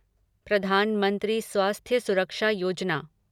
Pradhan Mantri Swasthya Suraksha Yojana